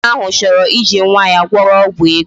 Nwoke ahụ chọrọ iji nwa ya gwọrọ ọgwụ ego